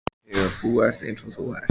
Þegar þú ert eins og þú ert.